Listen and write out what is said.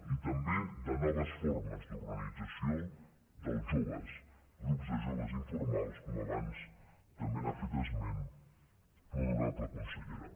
i també de no ves formes d’organització dels joves grups de joves informals com abans també n’ha fet esment l’honorable consellera